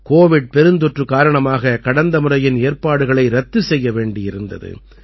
Covid பெருந்தொற்று காரணமாக கடந்த முறையின் ஏற்பாடுகளை ரத்து செய்ய வேண்டியிருந்தது